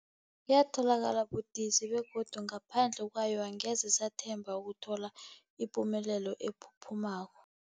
Yatholakala budisi, begodu ngaphandle kwayo angeze sathemba ukuthola ipumelelo ephuphumako.